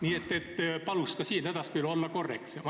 Nii et palun ka siin edaspidi olla korrektsem.